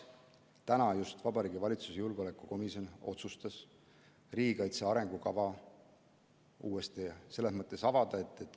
Täna just Vabariigi Valitsuse julgeolekukomisjon otsustas riigikaitse arengukava uuesti avada.